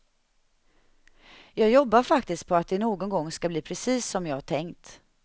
Jag jobbar faktiskt på att det någon gång ska bli precis som jag tänkt.